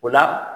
O la